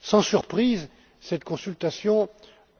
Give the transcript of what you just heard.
Sans surprise, cette consultation